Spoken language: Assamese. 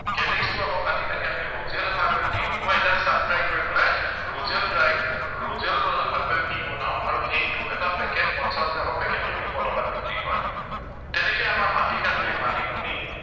calyx টো আকৌ কাটি কাটি আমি rosal herbal tea শুকুৱাই just sun dry কৰি পেলাই rosal dry, rosal herbal tea বনাও আৰু সেইটো এটা packet পঞ্চাছ গ্ৰামৰ packet টো দুশ টকাত বিক্ৰী হয় তেনেকে আমাৰ মাটিকাদুৰি, মানিমুনি